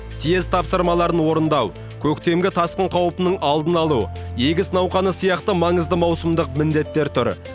съез тапсырмаларын орындау көктемгі тасқын қаупінің алдын алу егіс науқаны сияқты маңызды маусымдық міндеттер тұр